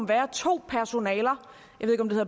være to